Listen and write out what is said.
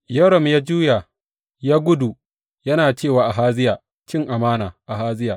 Yoram ya juya, ya gudu, yana ce wa Ahaziya, Cin amana, Ahaziya!